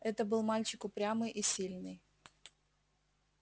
это был мальчик упрямый и сильный